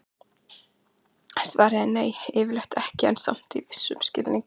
Svarið er nei, yfirleitt ekki, en samt í vissum skilningi já!